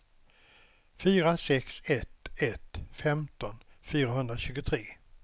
fyra sex ett ett femton fyrahundratjugotre